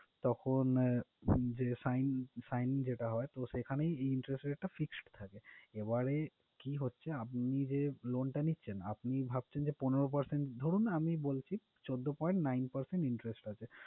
তখন আহ যে sign~sign যেটা হয় সেখানেই interest rate টা fixed থাকে। এবারে কি হচ্ছে আপনি যে loan টা নিচ্ছেন ভাবছেন যে পনেরো percent ধরুন আমি বলছি চৌদ্দ point nine percent interest আছে,